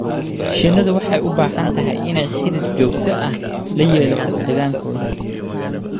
Shinnidu waxay u baahan tahay inay xidhiidh joogto ah la yeelato deegaankooda